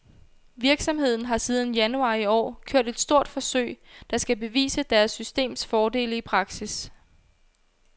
Virksomheden har siden januar i år kørt et stort forsøg, der skal bevise deres systems fordele i praksis.